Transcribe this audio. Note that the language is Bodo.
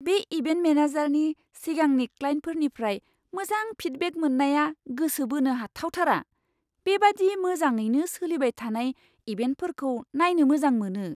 बे इभेन्ट मेनेजारनि सिगांनि क्लाइन्टफोरनिफ्राय मोजां फिडबेक मोननाया गोसो बोनो हाथावथावथार। बेबादि मोजाङैनो सोलिबाय थानाय इभेन्टफोरखौ नायनो मोजां मोनो।